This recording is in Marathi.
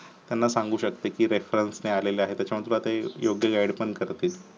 त्याला सांगू शकते की reference ने आले आहेत योग्य add पण करतील